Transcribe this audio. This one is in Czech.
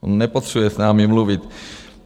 On nepotřebuje s námi mluvit.